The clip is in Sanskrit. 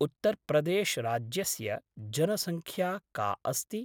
उत्तर्प्रदेश् राज्यस्य जनसङ्ख्या का अस्ति?